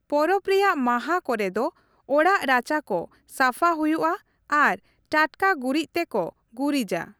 ᱯᱚᱨᱚᱵᱽ ᱨᱮᱭᱟᱜ ᱢᱟᱦᱟ ᱠᱚᱨᱮ ᱫᱚ ᱚᱲᱟᱜ ᱨᱟᱪᱟ ᱠᱚ ᱥᱟᱯᱷᱟ ᱦᱩᱭᱩᱜᱼᱟ ᱟᱨ ᱴᱟᱴᱠᱟ ᱜᱩᱨᱤᱡ ᱛᱮᱠᱚ ᱜᱩᱨᱤᱡᱟ ᱾